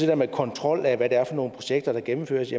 der med kontrol af hvad det er for nogle projekter der gennemføres